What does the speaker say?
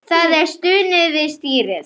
Það er stunið við stýrið.